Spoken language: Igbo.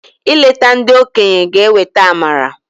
I leta ndị okenye g'eweta amara.